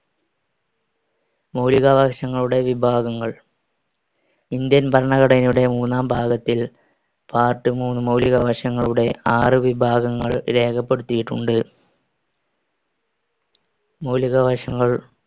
മൗലികാവകാശങ്ങളുടെ വിഭാഗങ്ങൾ. ഇന്ത്യൻ ഭരണഘടനയുടെ മൂന്നാം ഭാഗത്തിൽ part മൂന്ന് മൗലികാവകാശങ്ങളുടെ ആറ് വിഭാഗങ്ങൾ രേഖപ്പെടുത്തിയിട്ടുണ്ട്. മൗലികാവകാശങ്ങൾ